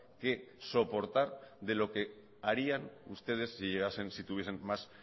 que soportar de lo que harían ustedes si llegasen si tuviesen más